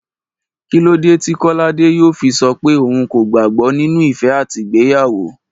Kí ló dé tí Kọ́ládé yóò fi sọ pé òun kò gbàgbó nínú ìfẹ́ àti ìgbéyàwó